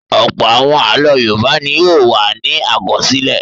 Ọ̀pọ̀ àwọn àlọ́ Yorùbá ni yóò wà ní àkọsílẹ̀.